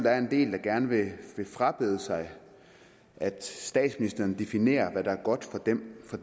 er en del der gerne vil frabede sig at statsministeren definerer hvad der er godt for dem for